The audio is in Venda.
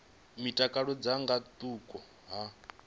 mutakalo dza nga thungo ha